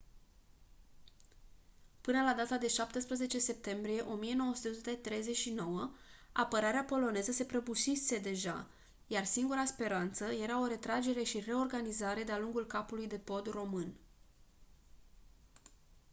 până la data de 17 septembrie 1939 apărarea poloneză se prăbușise deja iar singura speranță era o retragere și reorganizare de-a lungul capului de pod român